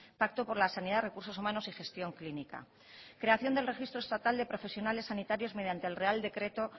pacto por la sanidad recursos humanos y gestión clínica creación del registro estatal de profesionales sanitarios mediante el real decreto